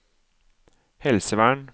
helsevern